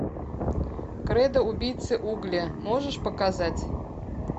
кредо убийцы угля можешь показать